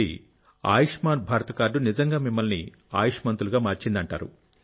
కాబట్టి ఆయుష్మాన్ భారత్ కార్డు నిజంగా మిమ్మల్ని ఆయుష్మంతులుగా మార్చింది